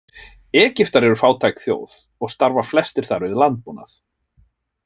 Egyptar eru fátæk þjóð og starfa flestir þar við landbúnað.